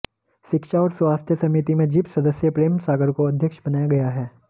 शिक्षा और स्वास्थ्य समिति में जिप सदस्य प्रेम सागर को अध्यक्ष बनाया गया है